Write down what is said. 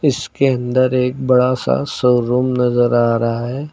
इसके अंदर एक बड़ा सा शोरूम नजर आ रहा है।